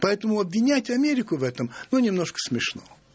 поэтому обвинять америку в этом ну немножко смешно